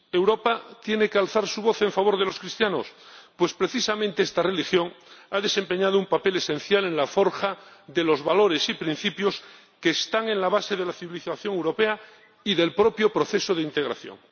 Europa tiene que alzar su voz en favor de los cristianos, pues precisamente esta religión ha desempeñado un papel esencial en la forja de los valores y principios que están en la base de la civilización europea y del propio proceso de integración.